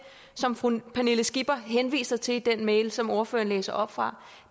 som fru pernille skipper henviser til i den mail som ordføreren læste op fra